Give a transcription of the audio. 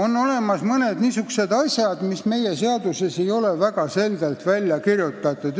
On olemas mõned niisugused asjad, mis ei ole meie seadustes väga selgelt lahti kirjutatud.